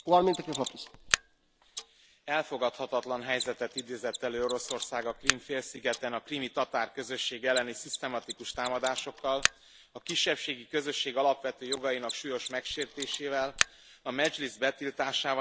Elfogadhatatlan helyzetet idézett elő Oroszország a Krím félszigeten a krími tatár közösség elleni szisztematikus támadásokkal, a kisebbségi közösség alapvető jogainak súlyos megsértésével, a Medzslisz betiltásával és az ukrán iskolák bezárásával.